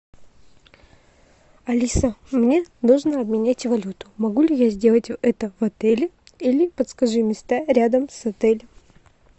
алиса мне нужно обменять валюту могу ли я сделать это в отеле или подскажи места рядом с отелем